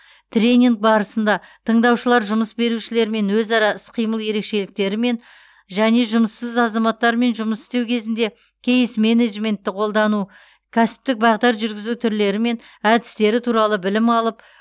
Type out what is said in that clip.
тренинг барысында тыңдаушылар жұмыс берушілермен өзара іс қимыл ерекшеліктері мен және жұмыссыз азаматтармен жұмыс істеу кезінде кейс менеджментті қолдану кәсіптік бағдар жүргізу түрлері мен әдістері туралы білім алып